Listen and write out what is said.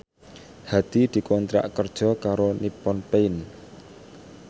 Hadi dikontrak kerja karo Nippon Paint